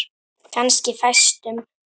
Kannski fæstum.